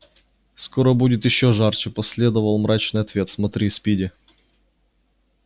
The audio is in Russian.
скоро будет ещё жарче последовал мрачный ответ смотри спиди